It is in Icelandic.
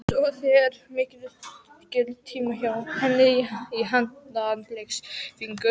Svo fer mikill tími hjá henni í handknattleiksæfingar.